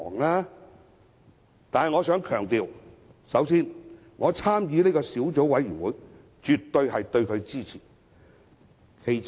然而，我必須強調，首先，我參與小組委員會，表示我對其絕對支持。